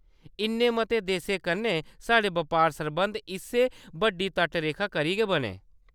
इन्ने मते देसें कन्नै साढ़े बपार सरबंध इस्सै बड्डी तटरेखा करी गै बने।